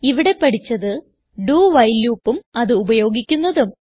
ഇവിടെ പഠിച്ചത് do while loopഉം അത് ഉപയോഗിക്കുന്നതും